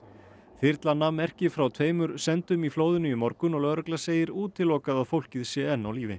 þyrla nam merki frá tveimur sendum í flóðinu í morgun og lögregla segir útilokað að fólkið sé enn á lífi